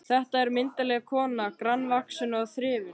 Þetta er myndarleg kona, grannvaxin og þrifin.